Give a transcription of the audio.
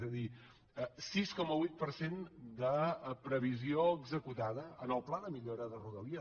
és a dir sis coma vuit per cent de previsió executada en el pla de millora de rodalies